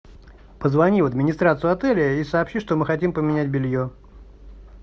позвони в администрацию отеля и сообщи что мы хотим поменять белье